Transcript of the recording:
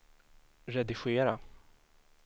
redigera